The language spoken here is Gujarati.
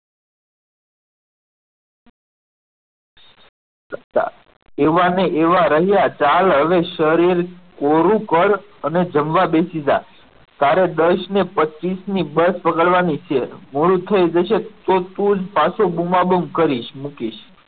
પપ્પા એવા ને એવા રહ્યા ચાલ હવે શરીર પૂરું કર અને જમવા બેસી જા તારે દસ ને પચીસ ની બસ પકડવાની છે મોડું થઈ જશે તો તું જ પાછો બૂમાબૂમ કરી મુકીશ.